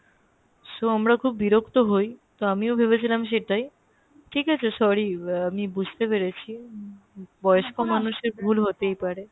so আমরা খুব বিরক্ত হয় তো আমিও ভেবেছিলাম সেটাই ঠিক আছে sorry আমি বুজতে পেরেছি বয়স্ক মানুষের ভুল হতে পারে